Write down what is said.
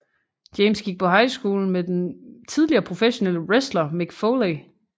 James gik på high school med den tidligere professionelle wrestler Mick Foley